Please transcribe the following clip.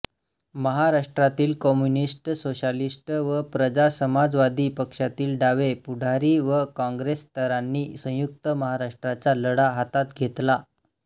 महाराष्ट्रातील communist socialist व प्रजासमाजवादी पक्षातील डावे पुढारी व काँग्रेसेतरांनी संयुक्त महाराष्ट्राचा लढा हातात घेतला